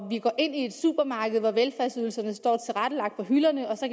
vi går ind i et supermarked hvor velfærdsydelserne står på hylderne og så